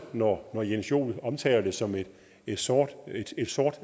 når herre jens joel omtaler det som et sort